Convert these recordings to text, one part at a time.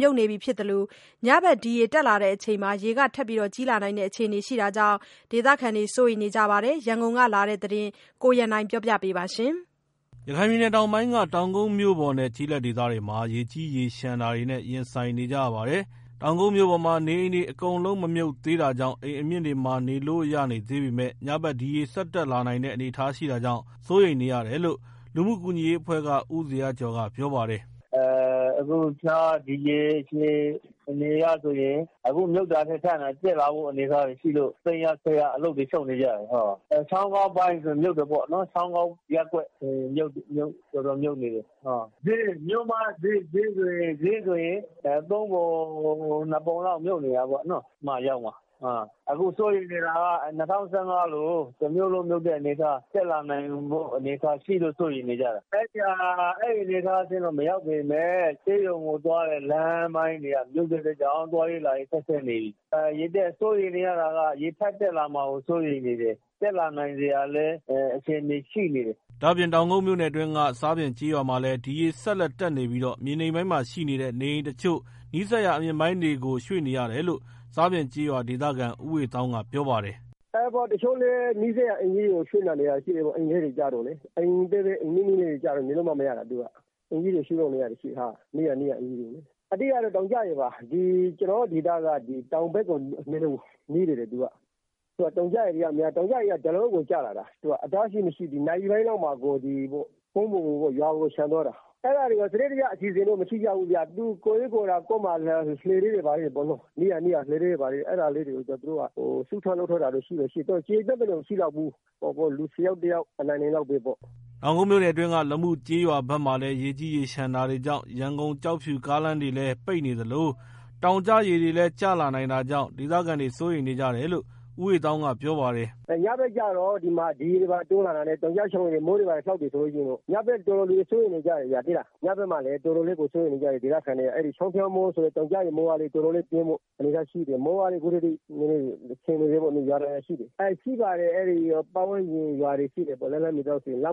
မြုပ်နေပြီဖြစ် သလိုည ဖက် ဒီရေတက်ချိန် ရေထပ်ပြီတော့ တက်လာနိုင်တဲ့ အခြေအနေရှိနေတာကြောင့် ဒေသခံ တွေစိုးရိမ်နေကြပါတယ်။ ရန်ကုန်ကလာတဲ့ သတင်းကို ကိုရန်နိုင် က ပြောပြ ပေးပါမယ်။ ရခိုင်ပြည်နယ်တောင်ပိုင်းက တောင်ကုတ်မြို့ပေါ်နဲ့ ကျေးလက်ဒေသတွေမှာ ရေကြီးရေ လျံတာတွေမှုတွေရင်ဆိုင်နေကြရပါတယ်။ တောင်ကုတ်မြို့ပေါ်မှာတော့ နေအိမ်တွေ အကုန်လုံးမ မြုပ်သေးတာကြောင့် အိမ်အမြင့်တွေမှာ နေလို့ရသေးပေမယ့် ညဖက်ဒီရေဆက်တက်လာနိုင်တဲ့ အနေအထားရှိနေတာကြောင့် စိုးရိမ်နေရတယ်လို့ လုမှုကူညီရေးအဖွဲ့က ဦးဇေယျကျော်ကပြောပါတယ်။ “ လက်ရှိဒီရေ အခြေအနေအရဆိုရင် အခုမြုပ်တာထက် ပိုပြီးတော့ မြုပ်လာနိုင်မယ့် အနေ အထားရှိတယ်။ သိမ်းရ ဆည်းရနဲ့ အလုပ်တွေ ရှုပ်နေကြတယ်။ ချောင်းကောက်ရပ် ကွက်ဆို ရင်မြုပ်နေပြီ တော်တော်မြုပ်နေပြီ။ မြို့မဈေးဆိုရင်လည်း သုံးပုံ နှစ်ပုံလောက် မြုပ်နေ တာ ပေါ့နော်။ အခုစိုးရိမ်နေတာက ၂၀၁၅တုန်းကလို တစ်မြို့လုံး မြုပ်မယ့် အနေအထား ရှိနေလို့ စိုးရိမ်နေကြတာ။ ဆေးရုံကို သွားတဲ့ လမ်းတွေလည်း ရေမြုပ်နေတာကြောင့် သွား ရေး လာ ရေး အခက်အခဲတွေ ရှိနေတယ်။ စိုးရိမ်တာက ရေထပ်တက်လာမှာကို စိုးရိမ်ရ တယ်။ တက်လာဖို့ အခြေအနေလည်း ရှိနေတယ်။” ဒါ့အပြင် တောင်ကုတ်မြို့နယ်အတွင်းက ဆားပြင်ကျေးရွာမှာလည်း ဒီရေဆက်လက် တက် နေပြီး မြေနိမ့်ပိုင်းမှာရှိတဲ့ နေအိမ်တစ်ချို့ နီးစပ်ရာ အမြင့်ပိုင်းတွေကို တယ်လို့ ဆားပြင်ကျေး ရွာဒေသခံ ဦးဝေသောင်းက ပြောပါတယ်။ “ လက်ရှိမှာတော့ တစ်ချို့တွေက နီးစပ်ရာ အိမ်ကြီးတွေကို ရွေ့ပြီးတော့ နေကြတယ်။ နိမ့်တဲ့ အိမ်တွေ ကျတော့ နေလို့မှ မရတာ သူတို့က အဓိကတော့ တောင်ကျရေပါ။ ကျနော်တို့ ဒေသ က တောင်နဲ့နီးတော့ တောင်ကျရေက ကျပြီဆိုရင် ဒလဟောကို ကျလာတာ အတား အဆီးမရှိ နာရီပိုင်းအတွင်း ရွာကို လျံသွားတာ။ စနစ်တကျ အစီအစီအစဉ်တော့ မရှိကြဘူးဗျ ကိုယ့်အစီ အစဉ်နဲ့ ကို လှေလေးတွေ ဘာတွေ နီးစပ်ရာစုပြီး လုပ်ထားကြ တာတော့ရှိတယ်။ လူဆယ် ယောက်လောက် အနိုင်နိုင်လေးပေါ့။” တောင်ကုတ်မြို့နယ်အတွင်းက လမုကျေးရွာဖက်မှာလည်း ရေကြီးရေလျံတာတွေကြောင့် ရန်ကုန် ကျောက်ဖြူ ကားလမ်းတွေလည်း ပိတ်နေသလို တောင်ကျရေတွေ လည်းကျလာ နိုင်တာကြောင့် ဒေသခံတွေ စိုးရိမ် နေကြတယ်လို့ ဦးဝေသောင်းကပြောပါတယ်။ “ညဖက်ကျတော့ ဒီမှာ ဒီရေတွေ တိုးလာတာနဲ့ တောင်ကျချောင်းရေတွေ ကျလာနိုင်တဲ့ ည ဖက် အတွက် တော်တော်စိုးရိမ်နေကြတယ်ဗျာ။ ဒေသခံတွေကလည်း စိုးနေကြတာက ချောင်းဖျားမိုး ဆိုတဲ့ အဲဒီ တောင်ကျချောင်းရေတွေ ကျလာနိုင်ခြေရှိတယ်။ မိုးကလည်း ရွာနေသေးတယ်။ပတ်ဝန်း ရွာ တွေလည်းမြုပ်နေတယ်။ လက်လှမ်းမှီသလောက် အဲဒီလ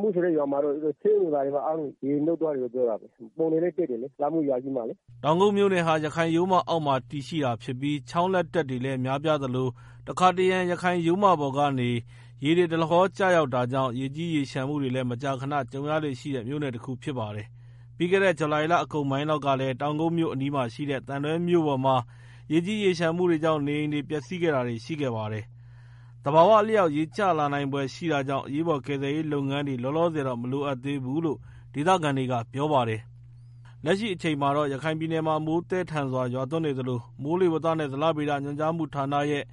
မုဆိုတဲ့ ရွာမှာ ဆေးရုံတွေဘာ တွေ အကုန်မြုပ် နေပြီလို့ ကြားတယ်။ ” တောင်ကုတ်မြို့နယ်ဟာ ရခိုင်ရိုးမ အောက်မှာ တည်ရှိတာဖြစ်ပြီး ချောင်းလက် တက်တွေ လည်း များပြားသလို တစ်ခါတစ်ရံ ရခိုင်ရိုးမပေါ်က ရေတွေ ဒလဟော ကျရောက် တာကြောင့် ရေကြီးရေလျံမှုတွေလည်း မကြာခဏကြုံရလေ့ရှိတဲ့ မြို့နယ်တစ်ခုလည်း ဖြစ်ပါတယ်။ ပြီးခဲ့တဲ့ ဇူလှိုင်လ အကုန်ပိုင်းလောက်ကလည်း တောင်ကုတ်မြို့အနီးမှာရှိတဲ့ သံတွဲမြို့ပေါ်မှာ ရေကြီး ရေလျံမှုတွေကြောင့် နေအိမ်တွေ ပျက်စီးခဲ့တာတွေလည်းရှိပါတယ်။ သဘာဝအလျောက် ရေကျနိုင်ဖွယ်ရှိတာကြောင့် အရေးပေါ်ကယ်ဆယ်ရေးလုပ်ငန်းတွေ လောလောဆယ် မလိုအပ်သေးဘူးလို့ ဒေသခံတွေကပြောပါတယ်။ လက်ရှိအချိန်မှာတော့ ရခိုင်ပြည်နယ်မှာ မိုးသည်းထန်စွာရွာသွန်းနေသလို မိုးလေဝသနဲ့ ဇလ ဗေဒညွန်ကြားမှုဌာနရဲ့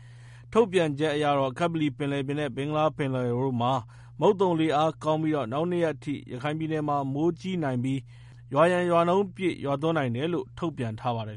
ထုတ်ပြန်ချက်အရ ကပလီပင်လယ်ပြင်နဲ့ ဘင်္ဂလားပင်လယ် အော်တို့ မှာ မုတ်သုံလေအားကောင်းနေပြီး နောက်နှစ်ရက်အထိ ရခိုင်ပြည်နယ်မှာ မိုးကြီးနိုင် ပြီး ရွာရန်ရွာနှုန်းပြည့် ရွာသွန်းနိုင် တယ်လို့ ထုတ်ပြန်ထားပါတယ်